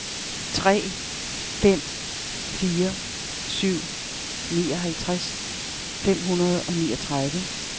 tre fem fire syv nioghalvtreds fem hundrede og niogtredive